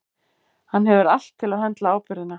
Hann hefur allt til að höndla ábyrgðina.